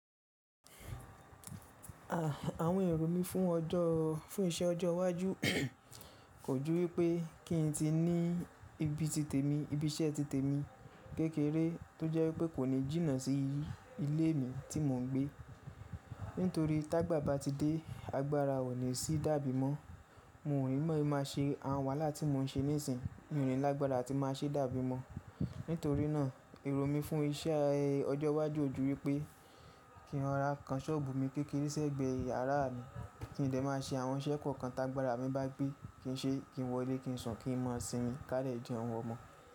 Àwọn èrò mí fún ọjọ́, fún iṣẹ́ ọjọ́ iwájú kò jú wípé kí n ti ní ibi ti tèmi, ibi iṣẹ́ ti tèmi kékeré tó jẹ́ wípé kò ní jìnnà sí ilé mi tí mò ń gbé. Nítorí tí agbàba ti dé, agbára ò ní sì dàbí mọ́. Mo ò ní mọ̀ máa ṣe àwọn wàhálà tí mò ń ṣe nísìnyí, Mo ò ni lágbára atí máa ṣe dàbí mọ́. Nítorí náà èrò mi fún iṣẹ́ ọjọ́ iwájú ò jú wípé kí n ra kan sọ́ọ̀bù mi kékeré sẹ́gbẹ̀ẹ́ yàrá mi kí n dẹ̀ máa ṣe àwọn iṣẹ́ kọ̀ọ̀kan tí agbára mi bá gbé, kí n ṣe, kí n wọlé, kí n sùn, kí n mọ ọ̀sìn mi, ká dẹ̀ jẹ́un ọmọ.